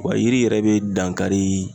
Wa yiri yɛrɛ be dan kari